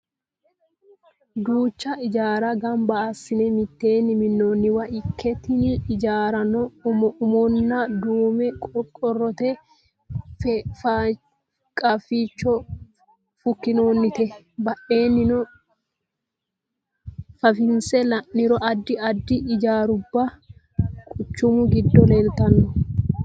Duucha ijaarra gamba assine mitteenni minnoonniwa ikke tini ijaarrano umoonni duume qorqorrote qaaficho fukkinoonnite. Badheenni fafinse la'niro addi addi ijaaruwa quchumu giddo leeltanno.